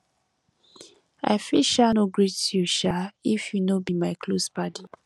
i fit um no greet you um if you no be my close paddy